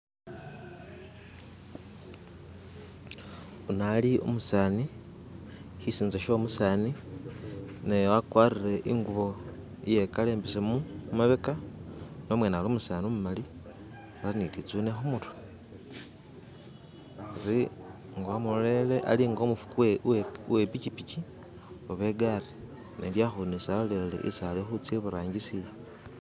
Uno ali umusani, sisinza sho umusani, naye wakwarire iye kala imbesemu mumabeka, no'mwene ali umusani umumali, ali ne litsune khumurwe, ari nga wamulolelele ali nga umufugi uwe pikipiki oba e'gaali nenga alolelele isi ali khutsa iburangisi.